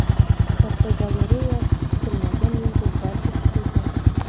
Fotogalereya: Kutilmagan yulduzlar juftligi.